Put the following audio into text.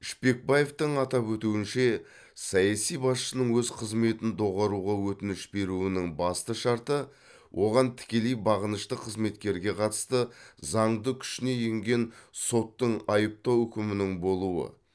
шпекбаевтың атап өтуінше саяси басшының өз қызметін доғаруға өтініш беруінің басты шарты оған тікелей бағынышты қызметкерге қатысты заңды күшіне енген соттың айыптау үкімінің болуы